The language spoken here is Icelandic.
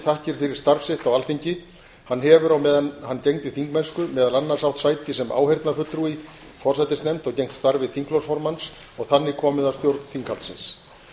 þakkir fyrir starf sitt á alþingi hann hefur á meðan hann gegndi þingmennsku meðal annars átt sæti sem áheyrnarfulltrúi í forsætisnefnd og gegnt starfi þingflokksformanns og þannig komið að stjórn þinghaldsins